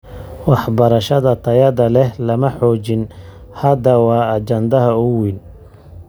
Waxbarashada tayada leh lama xoojin. Hadda waa ajandaha ugu weyn.